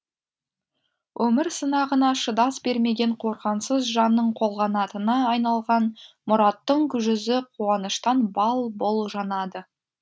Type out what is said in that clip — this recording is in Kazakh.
өмір сынағына шыдас бермеген қорғансыз жанның қолғанатына айналған мұраттың жүзі қуаныштан бал бұл жанады